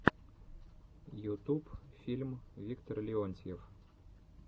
ютуб фильм виктор леонтьев